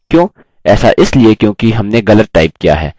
student line लाल हो गयी है